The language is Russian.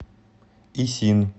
исин